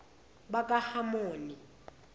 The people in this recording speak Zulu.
bakahamoni